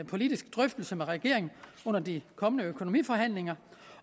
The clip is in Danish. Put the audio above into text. politisk drøftelse med regeringen under de kommende økonomiforhandlinger